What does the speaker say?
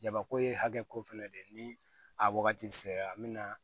Jabako ye hakɛko fɛnɛ de ye ni a wagati sera an bɛ na